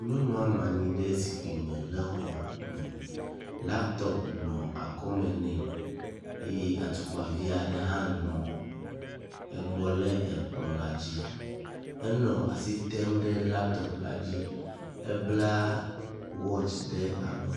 Nyɔnu nɔ anyi ɖe zikpui me le xɔ me. Latɔpu nɔ akɔme nɛ eye atukpavi aɖe hã nɔ egbɔ le ekplɔ la dzi. Enɔ asi tem ɖe latɔpu la dzi. Ebla wɔtsi ɖe alɔnu.